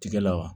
Tigɛ la wa